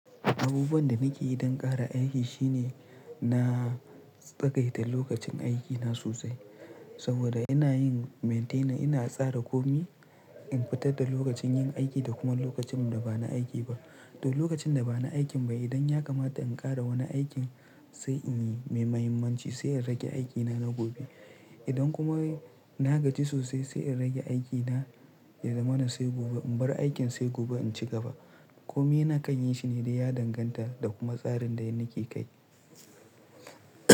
Abubuwan da nake yi don ƙara aiki shine na tsagaita lokacin aikina sosai saboda ina yin maintaining, ina tsara komai in fitar da lokacin yin aiki da kuma lokacin da ba na aiki ba. To lokacin da ba na aikin ba idan ya kamata in ƙara wani aikin sai in yi mai mahimmanci sai in rage aikina na gobe. Idan kuma na gaji sosai sai in rage aikina ya zamana sai gobe in bar aikin sai gobe in ci gaba. Komai na kai yi shine dai ya danganta da kuma tsarin da yanda yake kai.